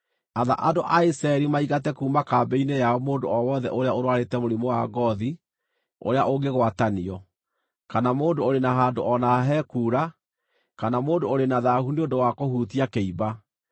“Atha andũ a Isiraeli maingate kuuma kambĩ-inĩ yao mũndũ o wothe ũrũarĩte mũrimũ wa ngoothi ũrĩa ũngĩgwatanio, kana mũndũ ũrĩ na handũ o na ha he kuura, kana mũndũ ũrĩ na thaahu nĩ ũndũ wa kũhutia kĩimba.